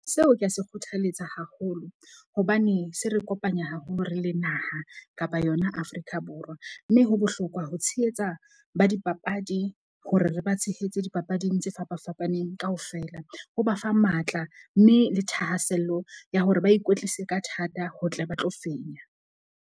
Seo ke a se kgothaletsa haholo. Hobane se re kopanya haholo re le naha kapa yona Afrika Borwa. Mme ho bohlokwa ho tshehetsa ba dipapadi hore re ba tshehetse dipapading tse fapafapaneng kaofela. Ho ba fa matla, mme le thahasello ya hore ba ikwetlise ka thata, ho tle ba tlo fenya.